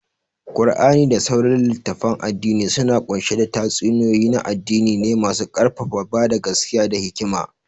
Qur'ani da sauran litattafan addini suna kunshe da tatsuniyoyi na addini ne masu karfafa bada gaskiya da hikima.